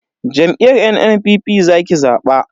Jam'iyyar NNPP zaki zaba.